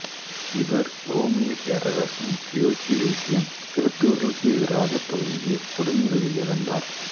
இவர் உரோமைப் பேரரசன் தியோக்கிளேசியன் கிறித்தவர்களுக்கு எதிராகத் துவங்கிய கொடுமைகளில் இறந்தார்